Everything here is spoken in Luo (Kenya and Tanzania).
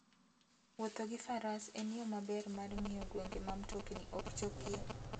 Wuotho gi faras en yo maber mar ng'iyo gwenge ma mtokni ok chopie.